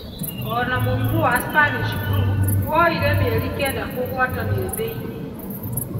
Ona mũrimũ wa Spanish Flu woire mĩeri kenda kũgwatanio thĩ-inĩ.